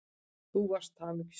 Þú varst hamingjusöm.